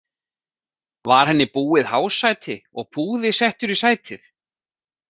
Var henni búið hásæti og púði settur í sætið.